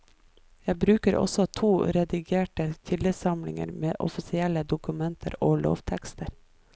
Jeg bruker også to redigerte kildesamlinger med offisielle dokumenter og lovtekster.